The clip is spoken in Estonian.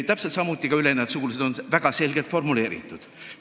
Täpselt samuti on väga selgelt formuleeritud ülenejad sugulased.